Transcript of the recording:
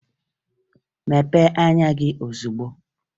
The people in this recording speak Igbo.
Mepee anya gị ozugbo!